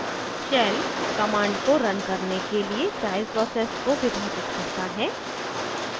shell command को run करने के लिए child process को विभाजित करता है